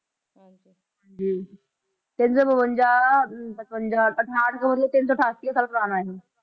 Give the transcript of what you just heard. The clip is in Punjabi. ਹਾਂਜੀ ਤਿੰਨ ਸੌ ਬਵੰਜਾ ਪਚਵੰਜਾ ਅਠਾਹਠ 'ਚ ਮਤਲਬ ਤਿੰਨ ਸੌ ਅਠਾਸੀ ਕੁ ਸਾਲ ਪੁਰਾਣਾ ਇਹ,